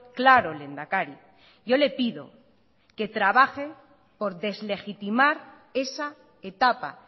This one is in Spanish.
claro lehendakari yo le pido que trabaje por deslegitimar esa etapa